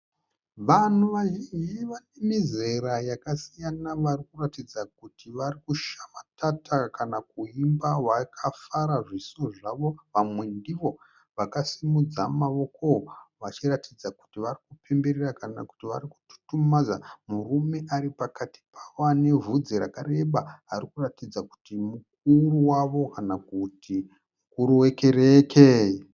Vanhu vazhinji vanemizera yakasiyana varikuratidza kuti varikushamatata kana kuimba vakafara zviso zvavo. Vamwe ndivo vakasimudza maoko vachiratidza kuti varikupemberera kana kuti varikututumadza murume aripakati pavo anevhudzi rakareba. Arikuratidza kuti mukuru wavo kana kuti mukuru wekereke.